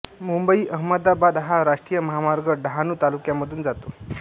मुंबई अमदावाद हा राष्ट्रीय महामार्ग डहाणू तालुक्यामधून जातो